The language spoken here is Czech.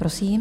Prosím.